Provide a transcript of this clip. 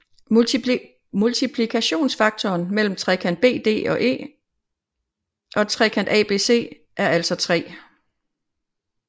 Multiplikationsfaktoren mellem trekant BDE og trekant ABC er altså 3